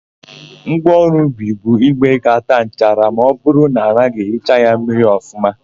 Ngwaọrụ ubi bụ ígwè ga-àtá nchara ma ọbụrụ na anaghị ehicha ya mmiri ọfụma.